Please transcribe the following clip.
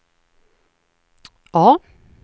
A